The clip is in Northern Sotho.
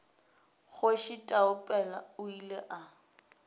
kgoši taupela o ile a